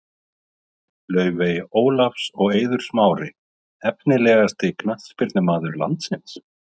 Laufey Ólafs og Eiður Smári Efnilegasti knattspyrnumaður landsins?